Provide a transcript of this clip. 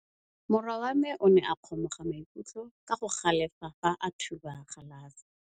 Morwa wa me o ne a kgomoga maikutlo ka go galefa fa a thuba galase.